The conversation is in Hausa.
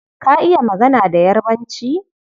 Ka iya magana da Yarbanci?